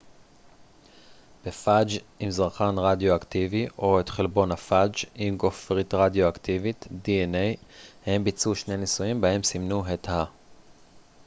הם ביצעו שני ניסויים בהם סימנו את ה-dna בפאג' עם זרחן רדיואקטיבי או את חלבון הפאג' עם גופרית רדיואקטיבית